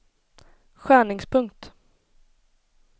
skärningspunkt